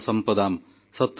ଆଜି ଦୀପାବଳିର ପବିତ୍ର ପର୍ବ